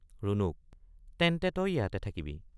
ৰুণুক—তেন্তে তই ইয়াতে থাকিবি।